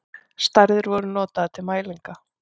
Stærðir voru notaðar til mælinga.